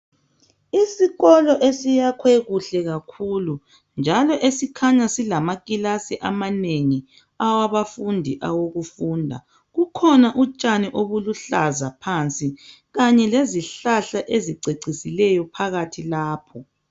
Isikolo esiyakhwe kuhle kakhulu njalo esikhanya silamakilasi amanengi, awabafundi awokufunda. Kukhona utshani obuluhlaza phansi kanye lezihlahla ezicecisileyo phakathi lapho.